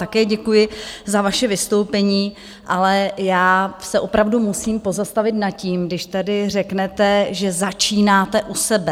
Také děkuji za vaše vystoupení, ale já se opravdu musím pozastavit nad tím, když tady řeknete, že začínáte u sebe.